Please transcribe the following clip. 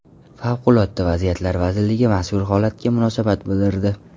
Favqulodda vaziyatlar vazirligi mazkur holatga munosabat bildirdi .